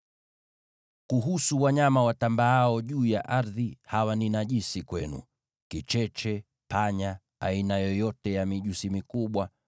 “ ‘Kuhusu wanyama watambaao juu ya ardhi, hawa ni najisi kwenu: kicheche, panya, aina yoyote ya mijusi mikubwa,